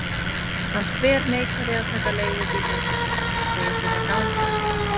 Hann þverneitar að taka leigubíl heim til sín, segist vilja ganga.